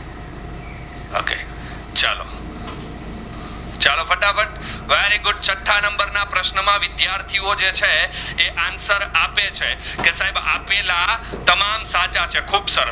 ના પ્રશ્ન માં વિદ્યાર્થીઓ જે છે answer આપે છે. કે સાહેબ આપેલા તમામ સાચા છે ખૂબ સરસ